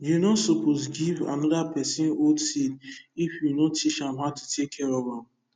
you no suppose give another person old seed if you no teach how to care for am